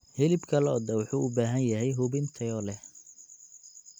Hilibka lo'da wuxuu u baahan yahay hubin tayo leh.